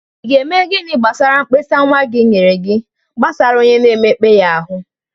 Ị ga-eme gini gbasara mkpesa nwa gị nyere gị gbasara onye na-emekpa ya ahụ?